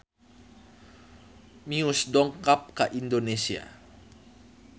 Muse dongkap ka Indonesia